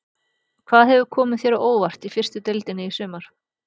Hvað hefur komið þér á óvart í fyrstu deildinni í sumar?